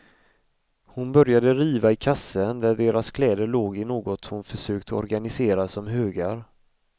Hon började riva i kassen där deras kläder låg i något hon försökt organisera som högar.